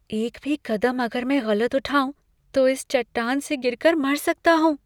एक भी कदम अगर मैं गलत उठाऊँ, तो इस चट्टान से गिरकर मर सकता हूँ।